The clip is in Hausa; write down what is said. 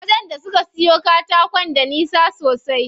Wajen da suke siyo katakon da nisa sosai.